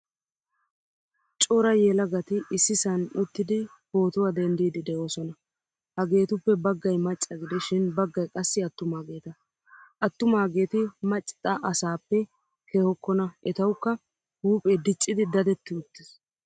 Cora yelagati issisan uttidi pootuwaa denddidi deosona. Hagettuppe baggay macca gidishin baggaay qassi attumaageta. Atumageti macxa asappe kehokona etawukka huuphphee diccidi daddeti uttiis.